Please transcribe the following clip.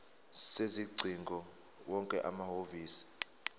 sezingcingo wonke amahhovisi